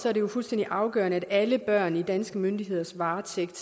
er jo fuldstændig afgørende at alle børn i danske myndigheders varetægt